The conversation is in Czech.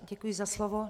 Děkuji za slovo.